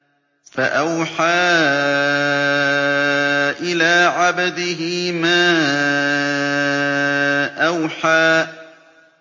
فَأَوْحَىٰ إِلَىٰ عَبْدِهِ مَا أَوْحَىٰ